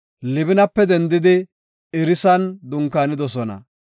Libinape dendidi Irisan dunkaanidosona.